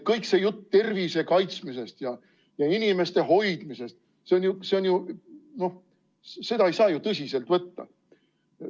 Kogu see jutt tervise kaitsmisest ja inimeste hoidmisest – seda ei saa ju tõsiselt võtta.